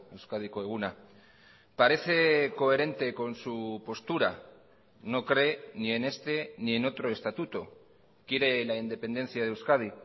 euskadiko eguna parece coherente con su postura no cree ni en este ni en otro estatuto quiere la independencia de euskadi